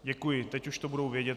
Děkuji, teď už to budou vědět.